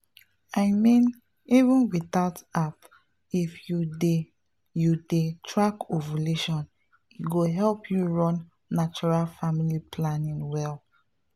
i mean even without app if you dey you dey track ovulation e go help you run natural family planning well.